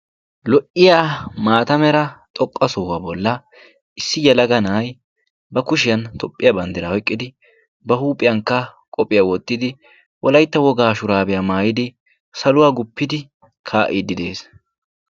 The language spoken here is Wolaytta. lo'iya maata mera xoqqa sohuwaa bolla issi yalaga na'ay ba kushiyan tophphiya banddiraa oyqqidi ba huuphiyankka qohphiyaa woottidi wolaitta wogaa shuraabiyaa maayidi saluwaa guppidi kaa'iiddi de7ees